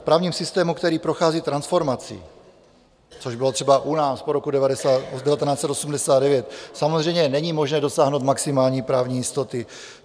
V právním systému, který prochází transformací, což bylo třeba u nás po roku 1989, samozřejmě není možné dosáhnout maximální právní jistoty.